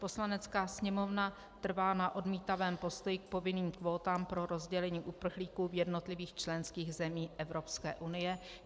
Poslanecká sněmovna trvá na odmítavém postoji k povinným kvótám pro rozdělení uprchlíků v jednotlivých členských zemích Evropské unie.